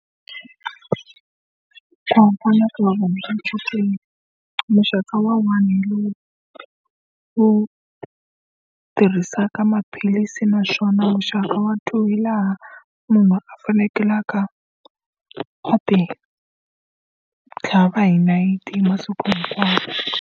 Ku hambana ka vuvabyi bya chukele. Muxaka wa one hi lowu wu tirhisaka maphilisi, naswona muxaka wa two hi laha munhu a fanekelaka a ti tlhava hi nayiti hi masiku hinkwawo.